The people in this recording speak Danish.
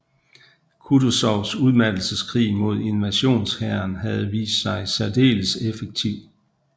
Kutuzovs udmattelseskrig mod invasionshæren havde vist sig særdeles effektiv